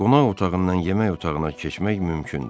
Qonaq otağından yemək otağına keçmək mümkündür.